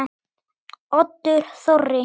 Oddur Þorri.